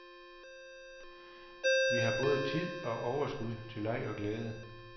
Vi har både tid og overskud til leg og glæde.